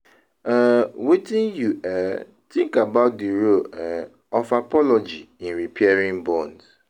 um Wetin you um think about di role um of apology in repairing bonds?